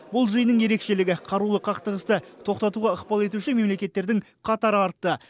бұл жиынның ерекшелігі қарулы қақтығысты тоқтатуға ықпал етуші мемлекеттердің қатары артты